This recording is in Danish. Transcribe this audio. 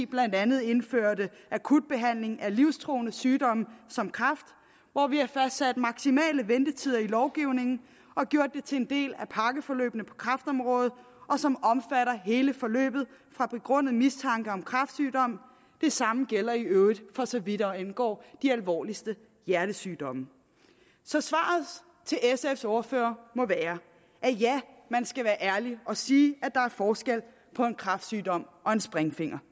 blandt andet indførte akut behandling af livstruende sygdomme som kræft og hvor vi har fremsat maksimale ventetider i lovgivningen og gjort det til en del af pakkeforløbene på kræftområdet som omfatter hele forløbet fra begrundet mistanke om kræftsygdom det samme gælder i øvrigt for så vidt angår de alvorligste hjertesygdomme så svaret til sfs ordfører må være at man skal være ærlig og sige at der er forskel på en kræftsygdom og en springfinger